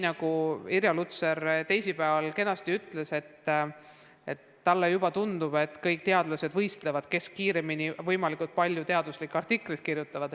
Nagu Irja Lutsar teisipäeval ütles, talle juba tundub, et kõik teadlased omamoodi võistlevad, kes kõige kiiremini võimalikult palju teaduslikke artikleid suudab kirjutada.